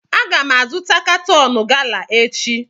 Aga m azụta katọn gala echi